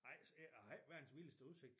Jeg har ikke jeg har ikke verdens vildeste udsigt